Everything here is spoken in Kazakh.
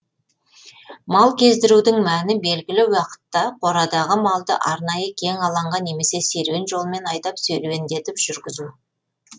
мал кездірудің мәні белгілі уақытта қорадағы малды арнайы кең алаңға немесе серуен жолмен айдап серуеңдетіп жүргізу